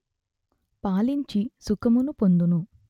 పాలించి సుఖమును పొందుము